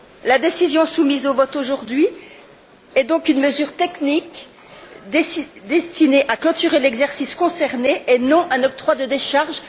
La décision soumise au vote aujourd'hui est donc une mesure technique, destinée à clôturer l'exercice concerné et non un octroi de décharge.